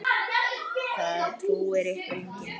Það trúir ykkur enginn!